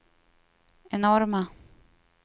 enorma